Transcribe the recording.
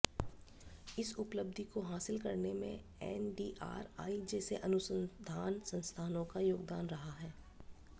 इस उपलब्धि को हासिल करने में एनडीआरआई जैसे अनुसंधान सस्थानों का योगदान रहा है